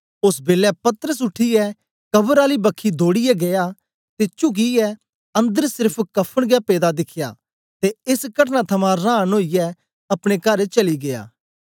ओस बेलै पतरस उठीयै कवर आली बखी दौड़ीयै गीया ते चुकियै अंदर सेर्फ कफ़न गै पेदा दिखया ते एस कटना थमां रांन ओईयै अपने कर चली गीया